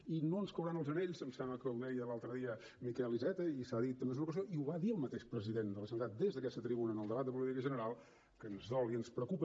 i no ens cauran els anells em sembla que ho deia l’altre dia miquel iceta i s’ha dit en més d’una ocasió i ho va dir el mateix president de la generalitat des d’aquesta tribuna en el debat de política general que ens dol i ens preocupa